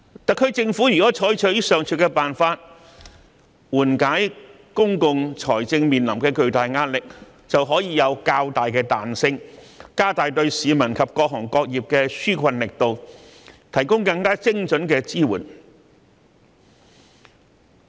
特區政府如能採取上述辦法緩解公共財政面臨的巨大壓力，便可擁有較大彈性，加大對市民及各行各業的紓困力度，提供更精準的支援。